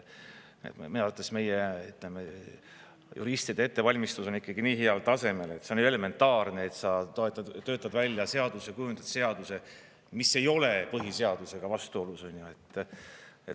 Minu arvates meie juristide ettevalmistus on nii heal tasemel, et see on elementaarne, et sa töötad välja seaduse, kujundad seaduse, mis ei ole põhiseadusega vastuolus.